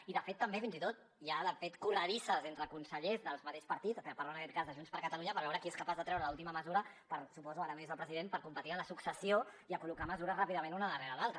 i de fet també fins i tot hi ha corredisses entre consellers del mateix partit parlant en aquest cas de junts per catalunya per veure qui és capaç de treure l’última mesura per suposo ara no hi és el president per competir en la successió i a col·locar mesures ràpidament una darrere l’altra